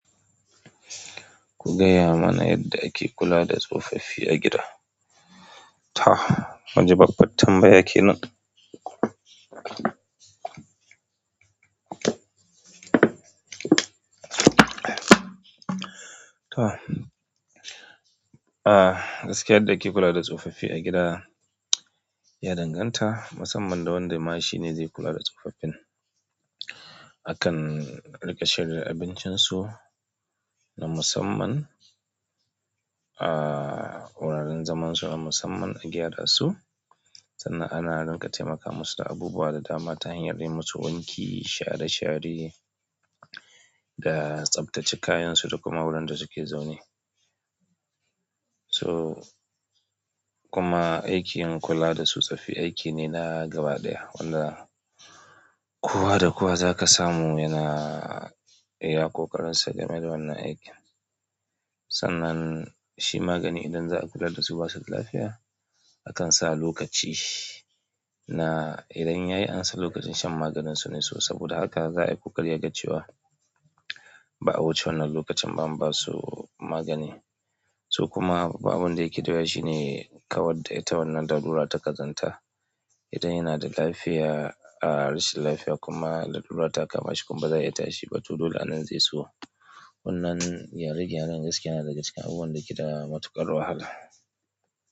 Ku gaya mana yadda ake kula da tsofaffi a gida. Ta. Munji babbat tambaya kenan. Toh. Ah gaskiya yadda ake kula da tsofaffi a gida ya danganta masamman da wanda ma shi ne zai kula da tsofaffin. Akan riƙa shirya abincinsu na musamman, ah wuraren zaman su na musamman a gyara su. Sannan ana riƙa taimakawa su da abubuwa da dama ta hanyar yi musu wanki, share share da tsaftace kayan su da kuma wurin da suke zaune. To kuma aikin kula da tsofaffi aiki ne na gaba ɗaya wanda kowa da kowa zaka samu yana iya ƙoƙarin sa game da wannan aikin. Sannan shi magani idan za a kula da su ba su da lafiya, akan sa lokaci. Na idan yayi an san lokacin shan maganin su ne su saboda haka za a yi ƙoƙari a ga cewa ba a wuce wannan lokacin ba an ba su magani. To kuma ba abin da yake da wuya shi ne kawai da ita wannan da darura ta ƙazanta. Idan yana da lafiya ah rashin lafiya kuma lalura ta kama shi kuma ba zai yi tashi ba to dole a nan zai so. Wannan gyare gyaren gaskiya na daga cikin abubuwan da ke da matuƙar wahala.